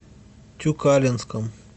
тюкалинском